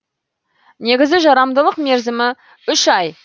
негізгі жарамдылық мерзімі үш ай